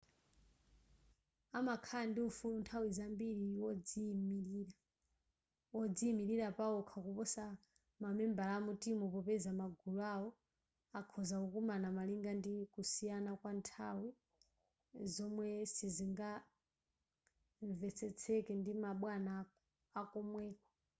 amakhala ndi ufulu nthawi zambiri wodziyimilira pawokha kuposa mamembala a mutimu popeza magulu awo akhoza kukumana malinga ndi kusiyana kwa nthawi zomwe sizingamvetsetseke ndi ma bwana akomweko